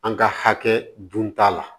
An ka hakɛ dun t'a la